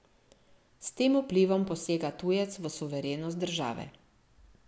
S tem vplivom posega tujec v suverenost države.